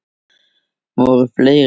Voru fleiri?